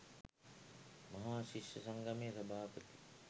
මහා ශිෂ්‍ය සංගමයේ සභාපති